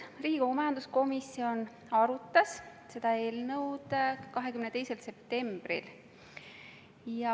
Riigikogu majanduskomisjon arutas seda eelnõu 22. septembril.